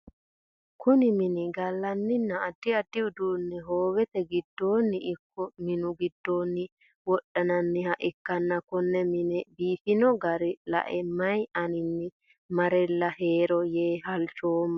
Kunni minni galanninna addi addi uduune hoowete gidoonnino iko minnu gidoonni wodhinnanniha ikanna konne mine biifino gara lae mayi aninni marela heero yee halchoomo